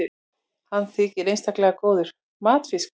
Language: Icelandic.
hann þykir einstaklega góður matfiskur